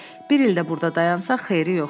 Bir il də burda dayansaq xeyri yoxdur.